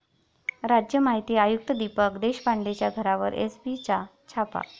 राज्य माहिती आयुक्त दीपक देशपांडेंच्या घरावर एसीबीचा छापा